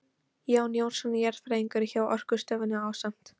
Jón Jónsson jarðfræðingur hjá Orkustofnun ásamt